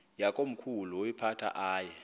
yakomkhulu woyiphatha aye